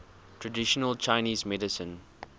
traditional chinese medicine